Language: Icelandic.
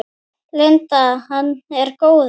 Linda: Er hann góður?